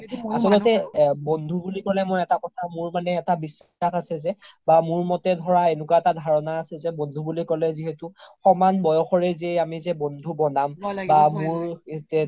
আচলতে বন্ধু বুলি ক্'লে মই এটা কথা মোৰ মানে এটা বিশ্বাস আছে যে বা মোৰ মতে ধৰা এনেকুৱা এটা ধাৰণা আছে যে বন্ধু বুলি ক্'লে যিহেতু সমান বয়সৰে যে আমি যে বন্ধু বনাম বা মোৰ